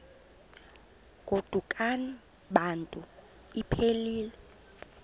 godukani bantu iphelil